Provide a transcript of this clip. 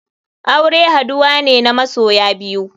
Aure haduwa ne na masoya biyu.